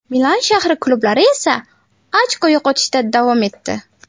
Milan shahri klublari esa ochko yo‘qotishda davom etdi.